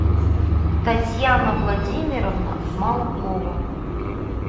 татьяна владимировна малкова